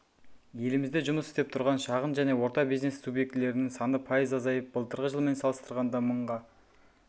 елімізде жұмыс істеп тұрған шағын және орта бизнес субъектілерінің саны пайыз азайып былтырғы жылмен салыстырғанда мыңға